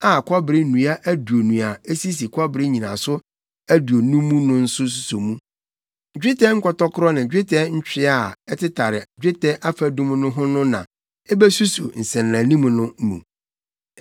a kɔbere nnua aduonu a esisi kɔbere nnyinaso aduonu mu no suso mu. Dwetɛ nkɔtɔkoro ne dwetɛ ntwea a ɛtetare dwetɛ afadum no ho no na ebesuso nsɛnanim no mu.